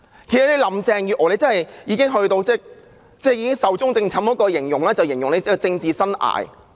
其實，林鄭月娥已經"壽終正寢"了——這是形容她的政治生涯。